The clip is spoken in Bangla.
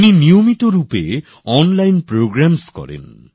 উনি নিয়মিত অনলাইন প্রোগ্রাম করেন